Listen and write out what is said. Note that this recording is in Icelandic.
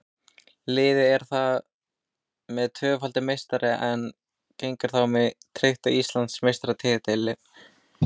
Liðið er þar með tvöfaldur meistari en það hafði áður tryggt sér Íslandsmeistaratitilinn.